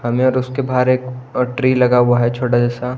हमें और उसके बाहर एक ट्री लगा हुआ है छोटा जैसा।